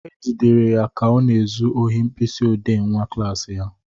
E jidere ya ka ọ na-ezu ohi mkpịsị odee nwa klassị ya.